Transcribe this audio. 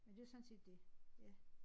Men det sådan set det ja